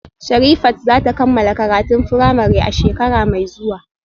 Sherifat za ta kammala karatun firamare a shekara mai zuwa